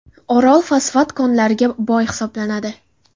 Orol fosfat konlariga boy hisoblanadi.